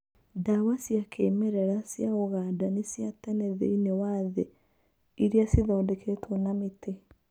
Ndawa cia kĩmerera cia ũganda nĩ cia tene thĩiniĩ wa thĩ iria cithondeketwo na mĩtĩ.